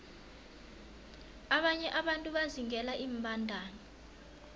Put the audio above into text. abanye abantu bazingela iimbandana